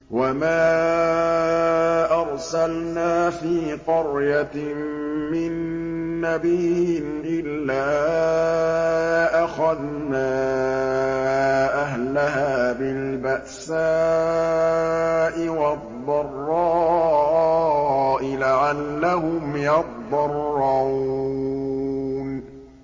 وَمَا أَرْسَلْنَا فِي قَرْيَةٍ مِّن نَّبِيٍّ إِلَّا أَخَذْنَا أَهْلَهَا بِالْبَأْسَاءِ وَالضَّرَّاءِ لَعَلَّهُمْ يَضَّرَّعُونَ